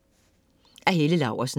Af Helle Laursen